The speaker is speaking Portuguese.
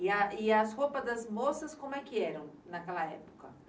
E a, e as roupas das moças como é que eram naquela época?